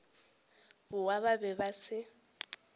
bao ba be ba se